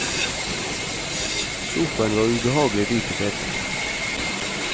Sofaen var ubehagelig dyp i setet.